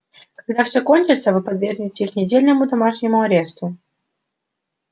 когда все кончится вы подвергнете их недельному домашнему аресту